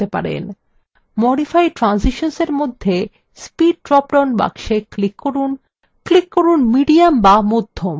modify transitions এর মধ্যে speed drop down box click করুন click করুন medium বা মধ্যম